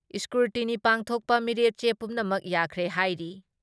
Scrutiny ꯄꯥꯡꯊꯣꯛꯄ ꯃꯤꯔꯦꯞꯆꯦ ꯄꯨꯝꯅꯃꯛ ꯌꯥꯈ꯭ꯔꯦ ꯍꯥꯏꯔꯤ ꯫